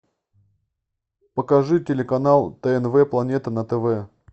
покажи телеканал тнв планета на тв